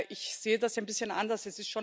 Ich sehe das ein bisschen anders.